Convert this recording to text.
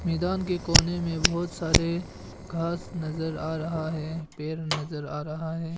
मैदान के कोने में बहुत सारे घास नजर आ रहा है पेड़ नजर आ रहा है।